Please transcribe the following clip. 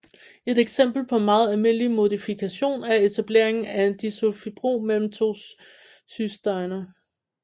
Et eksempel på en meget almindelig modifikation er etableringen af en disulfidbro mellem to cysteiner